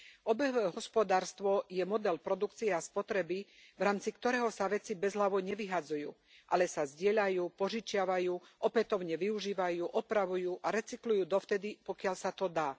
Obehové hospodárstvo je model produkcie a spotreby, v rámci ktorého sa veci bezhlavo nevyhadzujú, ale sa zdieľajú, požičiavajú, opätovne využívajú, opravujú a recyklujú dovtedy, pokiaľ sa to dá.